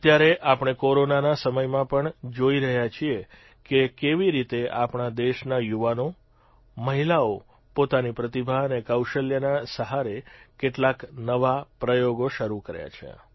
અત્યારે આપણે કોરોનાના સમયમાં પણ જોઇ રહ્યા છીએ કે કેવી રીતે આપણા દેશના યુવાનો મહિલાઓએ પોતાની પ્રતિભા અને કૌશલ્યના સહારે કેટલાક નવા પ્રયોગો શરૂ કર્યા છે